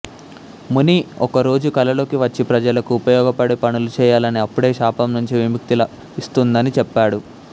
ముని ఒక రోజు కళలోకి వచ్చి ప్రజలకు ఉపయోగపడే పనులు చేయాలని అప్పుడే శాపం నుంచి విముక్తి లభిస్తుందని చెప్పాడు